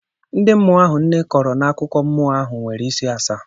Ndị mmụọ ahụ nne kọrọ n'akụkọ mmụọ ahụ nwere isi asaa